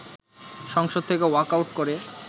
সংসদ থেকে ওয়াকআউট করে